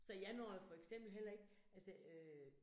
Så jeg når jo for eksempel heller ikke, altså øh